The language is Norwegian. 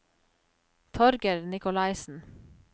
Torger Nikolaisen